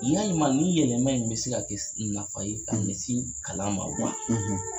Yalima ni yɛlɛma in bɛ se ka kɛ nafa ye ka ɲɛsin kalan ma wa?